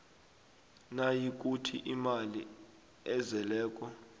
nayikuthi imali ezeleko